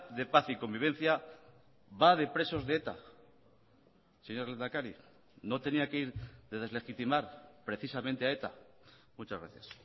de paz y convivencia va de presos de eta señor lehendakari no tenía que ir de deslegitimar precisamente a eta muchas gracias